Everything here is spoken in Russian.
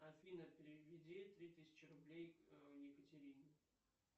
афина переведи три тысячи рублей екатерине